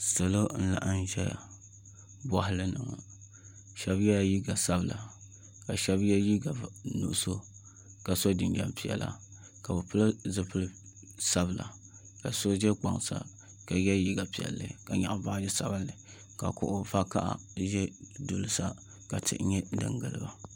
Salo n laɣam ʒɛya boɣali ni ŋo shab yɛla liiga sabila ka shab yɛ liiga nuɣso ka so jinjɛm piɛla ka bi pili zipili sabila ka so ʒɛ kpaŋ sa ka yɛ liiga piɛli ka nyaɣa baaji sabinli ka kuɣu vakaɣa ʒɛ duli sa ka tihi nyɛ din giliba